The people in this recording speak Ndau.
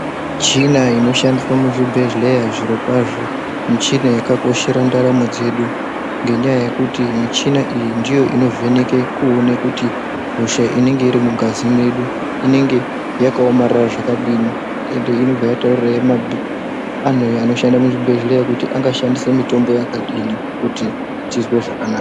Michina inoshandiswa muzvibhedhleya, zvirokwazvo michina yakakoshera ndaramo dzedu, ngenyaya yekuti michina iyi, ndiyo inovheneke kuwone kuti hosha unenge irimungazi medu, inenge yakawomarara zvakadini, ende inobva yatawurira anu anoshanda muzvibhedleya kuti angashandise mitombo yakadini kuti tizwe zvakanaka.